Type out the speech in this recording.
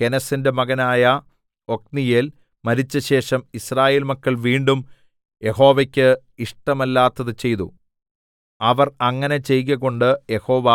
കെനസിന്റെ മകനായ ഒത്നീയേൽ മരിച്ചശേഷം യിസ്രായേൽ മക്കൾ വീണ്ടും യഹോവയ്ക്ക് ഇഷ്ടമല്ലാത്തത് ചെയ്തു അവർ അങ്ങനെ ചെയ്കകൊണ്ട് യഹോവ